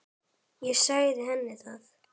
Ég sagði henni það.